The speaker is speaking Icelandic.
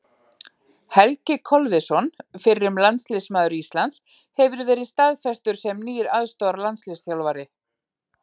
Helgi Kolviðsson, fyrrum landsliðsmaður Íslands, hefur verið staðfestur sem nýr aðstoðarlandsliðsþjálfari.